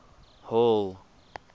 hall